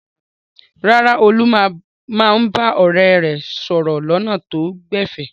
Rárá, Olú máa ń bá ọ̀rẹ́ rẹ̀ sọ̀rọ̀ lọ́nà tó gbẹ̀fẹ̀.